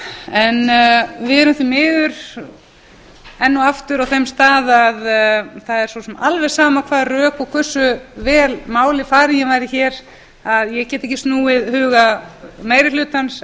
við erum því miður enn og aftur á þeim stað að það er svo sem alveg sama hvaða rök og hversu vel máli farin ég væri hér að ég get ekki snúið huga meiri hlutans